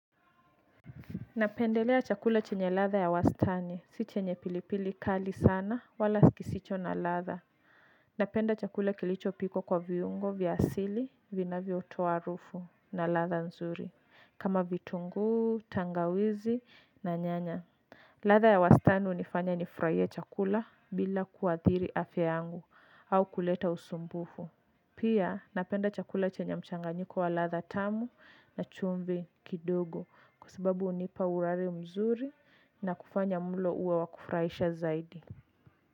Napendelea chakula chenye ladha ya wastani. Si chenye pilipili kali sana wala kisicho na ladha. Napenda chakula kilichopikwa kwa viungo vya asili vinavyotoa harufu na ladha nzuri. Kama vitunguu, tangawizi na nyanya. Ladha ya wastani hunifanya nifurahie chakula bila kuadhiri afya yangu au kuleta usumbufu. Pia napenda chakula chenye mchanganyiko wa ladha tamu na chumvi kidogo kwa sababu hunipa urari mzuri na kufanya mlo uwe wakufurahisha zaidi.